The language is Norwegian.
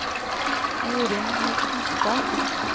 Jorunn Hustad